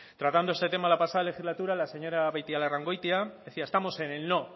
tratando este tema en la pasada legislatura la señora beitialarrangoitia decía estamos en el no